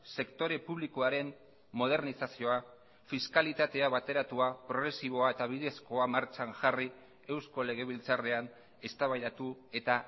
sektore publikoaren modernizazioa fiskalitatea bateratua progresiboa eta bidezkoa martxan jarri eusko legebiltzarrean eztabaidatu eta